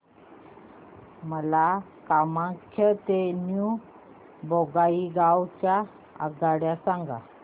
मला कामाख्या ते न्यू बोंगाईगाव च्या आगगाड्या सांगा